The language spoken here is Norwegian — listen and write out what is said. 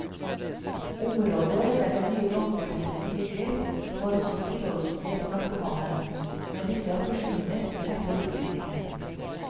Området der den nye gangforbindelsen ligger, var også et tilholdssted for narkomane, men disse har forsvunnet etter opprydningen.